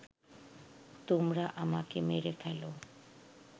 তোমরা আমাকে মেরে ফেল